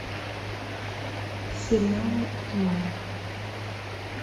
сериалы онлайн